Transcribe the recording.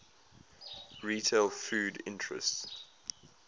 retail foods interests